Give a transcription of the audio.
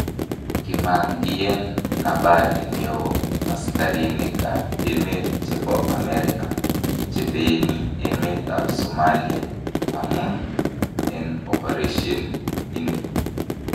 Kimangiyen nabari neo askarinik ap emet chepo amerika chepenii emet ap Somalia amun en opareshen ini